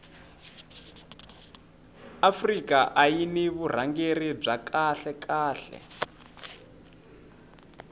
afrika ayiri ni vurhangeri bya kahle khale